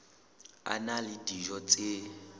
a na le dijo tse